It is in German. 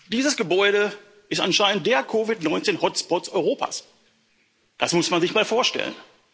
Dieses Gebäude ist anscheinend der COVID-19 Hotspot Europas das muss man sich mal vorstellen.